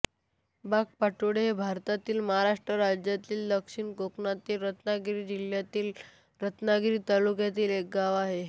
बागपाटोळे हे भारतातील महाराष्ट्र राज्यातील दक्षिण कोकणातील रत्नागिरी जिल्ह्यातील रत्नागिरी तालुक्यातील एक गाव आहे